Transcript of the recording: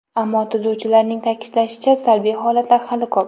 Ammo, tuzuvchilarning ta’kidlashicha, salbiy holatlar hali ko‘p.